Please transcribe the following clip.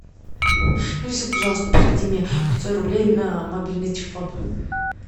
алиса пожалуйста переведи мне пятьсот рублей на мобильный телефон